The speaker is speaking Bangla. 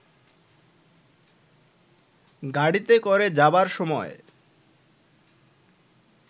গাড়ীতে করে যাবার সময়